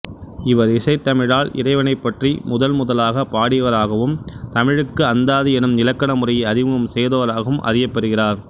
இவர் இசைத்தமிழால் இறைவனைப் பற்றி முதன்முதலாகப் பாடியவராகவும் தமிழுக்கு அந்தாதி எனும் இலக்கண முறையை அறிமுகம் செய்தவராகவும் அறியப்பெறுகிறார்